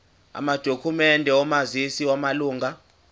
amadokhumende omazisi wamalunga